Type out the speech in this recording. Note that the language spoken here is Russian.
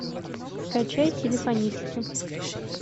скачай телефонистки